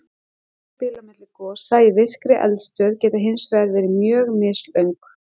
Tímabil á milli gosa í virkri eldstöð geta hins vegar verið mjög mislöng.